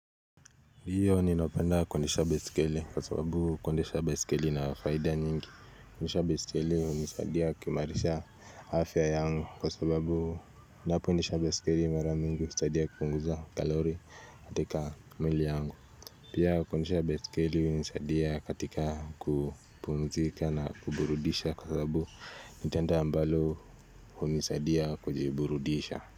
Ndio ninapenda kuendesha baiskeli kwa sababu kuendesha baiskeli ina fahida nyingi kuendesha baiskeli unisadia kuimarisha afya yangu kwa sababu ninapoendesha baiskeli mara mingi usadia kupunguza kalori katika mwili yangu Pia kuendesha baiskeli unisadia katika kupumzika na kuburudisha kwa sababu nitendo ambalo unisadia kujiburudisha.